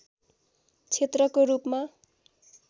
क्षेत्रको रूपमा